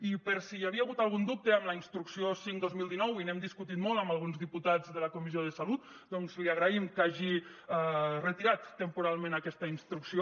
i per si hi havia hagut algun dubte amb la instrucció cinc dos mil dinou i n’hem discutit molt amb alguns diputats de la comissió de salut doncs li agraïm que hagi retirat temporalment aquesta instrucció